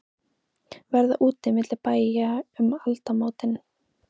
Verða úti milli bæja um aldamótin?